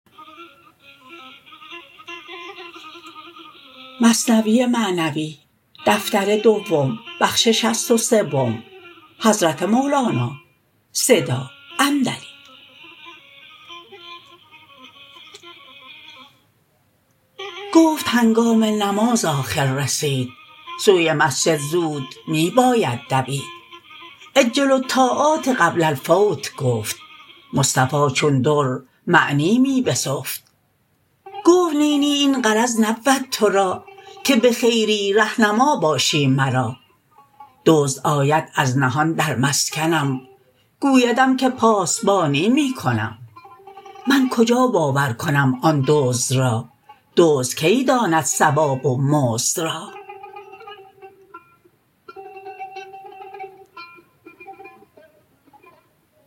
گفت هنگام نماز آخر رسید سوی مسجد زود می باید دوید عجلوا الطاعات قبل الفوت گفت مصطفی چون در معنی می بسفت گفت نی نی این غرض نبود تو را که بخیری ره نما باشی مرا دزد آید از نهان در مسکنم گویدم که پاسبانی می کنم من کجا باور کنم آن دزد را دزد کی داند ثواب و مزد را